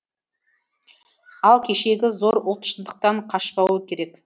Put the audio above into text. ал кешегі зор ұлт шындықтан қашпауы керек